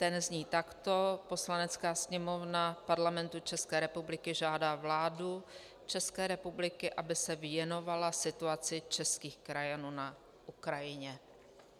Ten zní takto: "Poslanecká sněmovna Parlamentu České republiky žádá vládu České republiky, aby se věnovala situaci českých krajanů na Ukrajině."